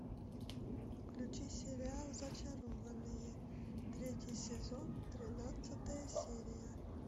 включи сериал зачарованные третий сезон тринадцатая серия